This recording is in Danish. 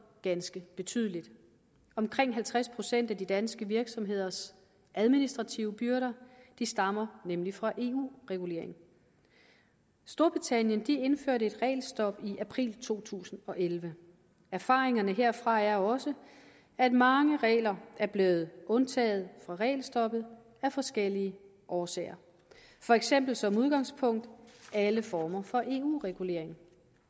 ganske betydeligt omkring halvtreds procent af de danske virksomheders administrative byrder stammer nemlig fra eu regulering storbritannien indførte et regelstop i april to tusind og elleve erfaringerne herfra er også at mange regler er blevet undtaget fra regelstoppet af forskellige årsager for eksempel som udgangspunkt alle former for eu regulering